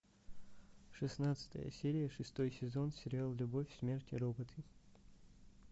шестнадцатая серия шестой сезон сериал любовь смерть и роботы